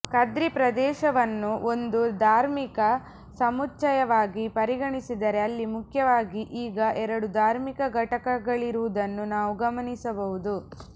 ಕದ್ರಿ ಪ್ರದೇಶವನ್ನು ಒಂದು ಧಾರ್ಮಿಕ ಸಮುಚ್ಛಯವಾಗಿ ಪರಿಗಣಿಸಿದರೆ ಅಲ್ಲಿ ಮುಖ್ಯವಾಗಿ ಈಗ ಎರಡು ಧಾರ್ಮಿಕ ಘಟಕಗಳಿರುವುದನ್ನು ನಾವು ಗಮನಿಸಬಹುದು